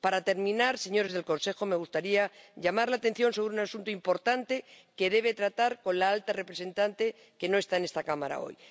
Para terminar, señores del Consejo, me gustaría llamar la atención sobre un asunto importante que deben tratar con la alta representante, que no está en esta Cámara hoy.